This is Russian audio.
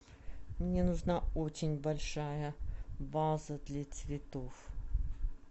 мне нужна очень большая ваза для цветов